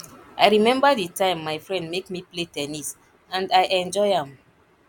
i remember the time my friend make me play ten nis and i enjoy am